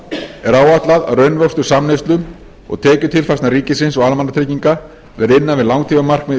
er áætlað að raunvöxtur samneyslu og tekjutilfærslna ríkis og almannatrygginga verði innan við langtímamarkmið í ríkisfjármálum